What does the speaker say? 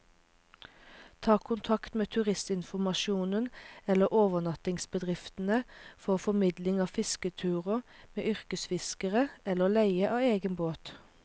Ta kontakt med turistinformasjonen eller overnattingsbedriftene for formidling av fisketurer med yrkesfiskere, eller leie av egen båt.